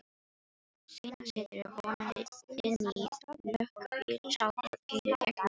Seinna siturðu vonandi inní löggubíl sjálfur og keyrir gegnum borgina.